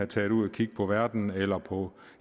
tage ud og kigge på verden eller på